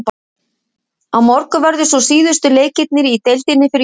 Á morgun verða svo síðustu leikirnir í deildinni fyrir jólafrí.